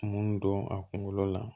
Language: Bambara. Mun don a kunkolo la